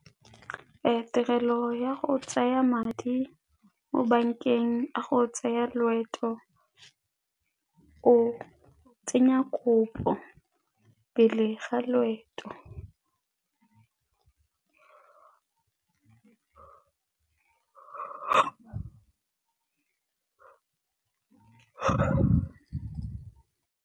Tirelo ya go tsaya madi mo bankeng a go tsaya loeto, o tsenya kopo pele ga loeto.